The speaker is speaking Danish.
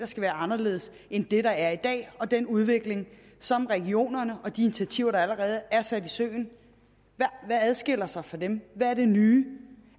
skal være anderledes end det der er i dag og den udvikling som regionerne har og de initiativer der allerede er sat i søen hvad adskiller sig fra dem hvad er det nye